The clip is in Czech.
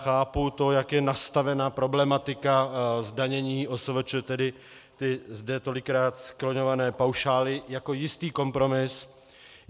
Chápu to, jak je nastavena problematika zdanění OSVČ, tedy ty zde tolikrát skloňované paušály, jako jistý kompromis.